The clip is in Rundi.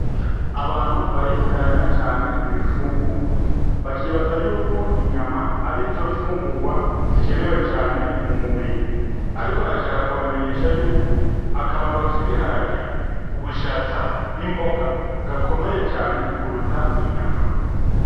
Abantu baritiranya cane ibifungungwa bakibaza yuko inyama arizo fungugwa zikenewe cane mumubiri ariko nashaka kubamenyesha yuko akamaro k'ibiharage, ubushaza n' imboga gakomeye cane kurutaro inyama.